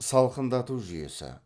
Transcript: салқындату жүйесі